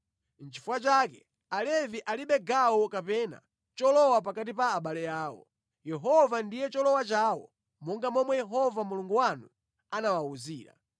Nʼchifukwa chake Alevi alibe gawo kapena cholowa pakati pa abale awo. Yehova ndiye cholowa chawo monga momwe Yehova Mulungu wanu anawawuzira.